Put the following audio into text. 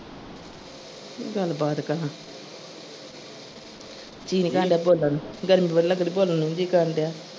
ਕੀ ਗਲਬਾਤ ਕਰਾ ਜੀ ਨਹੀਂ ਕਰਨ ਡੇਆ ਬੋਲਣ ਨੂੰ ਗਰਮੀ ਬੜੀ ਲੱਗਣ ਦੀ ਬੋਲਣ ਨੂੰ ਨੀ ਜੀ ਕਰਨ ਡੇਆ।